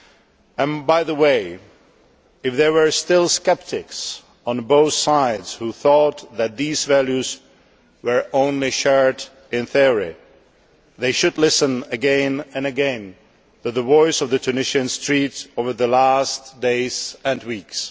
And, by the way, if there were still sceptics on both sides who thought that these values were shared only in theory, they should listen again and again to the voice of the Tunisian street over the last days and weeks.